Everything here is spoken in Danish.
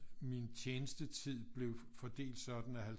Min tjenestetid blev fordelt sådan at